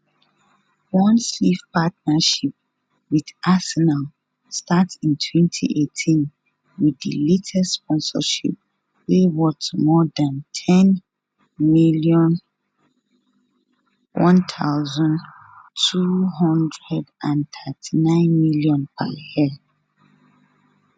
one sleeve partnership wit arsenal start in 2018 wit di latest sponsorship wey worth more dan 10m 1239 million per year